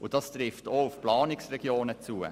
Dies trifft auch auf die Planungsregionen zu.